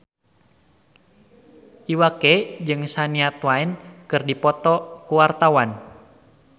Iwa K jeung Shania Twain keur dipoto ku wartawan